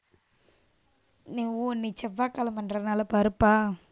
இன்னைக்கு ஓ இன்னைக்கு செவ்வாய்கிழமைன்றதுனால பருப்பா?